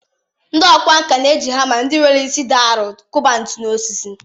Ndị ọkwá nkà na-eji hama ndị nwere isi dị arọ kụba ntu n’osisi.